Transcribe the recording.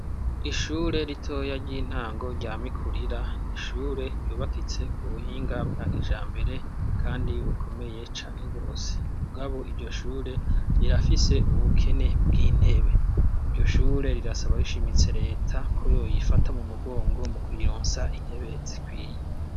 Ishure ritoya ry'intango ryamikurira ni ishure ryubakitse ku buhinga bwa kija mbere, kandi bukomeye cane rwose umugabo iryo shure rirafise ubukene bw'intebe iryo shure rirasaba rishimitse leta ko yoyifata mu mugongo mu kuyironsa intebe zikwiye.